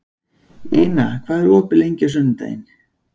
Ina, hvað er opið lengi á sunnudaginn?